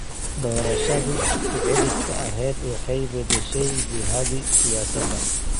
Doorashadii ku celiska ahayd waxay beddeshay jihadii siyaasadda.